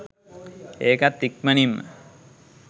ඒකත් ඉක්මනින්ම